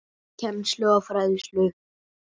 Kennslu og fræðslu